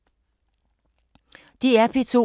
DR P2